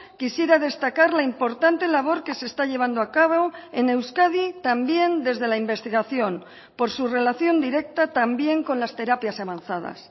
quisiera destacar la importante labor que se está llevando a cabo en euskadi también desde la investigación por su relación directa también con las terapias avanzadas